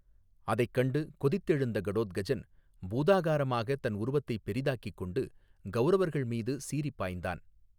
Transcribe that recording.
அதை கண்டு, கொதித்தெழுந்த கடோத்கஜன், பூதாகாரமாக தன் உருவத்தை பெரிதாக்கிக் கொண்டு, கௌரவர்கள் மீது சீறி பாய்ந்தான்.